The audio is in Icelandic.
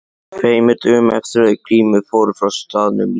Tveimur dögum eftir að þau Grímur fóru frá staðnum lét